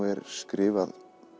er skrifað